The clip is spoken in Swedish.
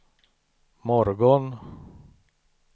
morgon